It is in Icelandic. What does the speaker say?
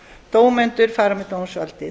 dómendur fara með dómsvaldið